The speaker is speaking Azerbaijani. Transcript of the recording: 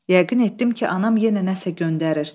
Yəqin etdim ki, anam yenə nəsə göndərir.